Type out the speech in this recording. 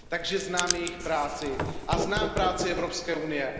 Takže znám jejich práci a znám práci Evropské unie.